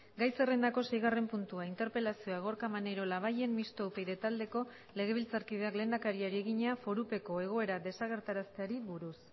gai zerrendako seigarren puntua interpelazioa gorka maneiro labayen mistoa upyd taldeko legebiltzarkideak lehendakariari egina forupeko egoera desagerrarazteari buruz